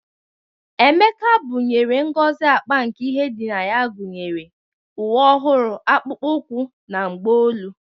Emeka bunyere Ngozi akpa nke ihe dị na ya gunyere uwe ọhụrụ, akpụkpọ ụkwụ, na mgbaolu.